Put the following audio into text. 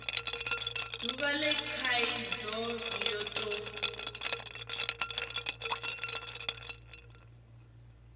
duvha le khaidzo yo tou